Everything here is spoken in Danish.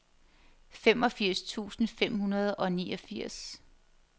femogfirs tusind fem hundrede og niogfirs